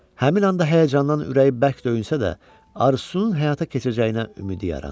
Həmin anda həyəcandan ürəyi bərk döyünsə də, arzusunun həyata keçirəcəyinə ümidi yarandı.